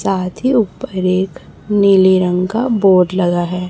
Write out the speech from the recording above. साथ ही ऊपर एक नीले रंग का बोर्ड लगा है।